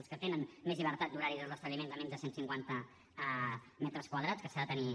els que tenen més llibertat d’horari els establiments a menys de cent cinquanta metres quadrats que s’ha de tenir